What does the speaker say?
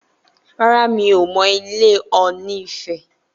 Rárá, mi ò mọ ilé Ọ̀ọ̀nì ifẹ̀